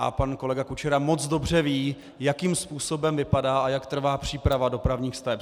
A pan kolega Kučera moc dobře ví, jakým způsobem vypadá a jak trvá příprava dopravních staveb.